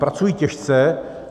Pracují těžce.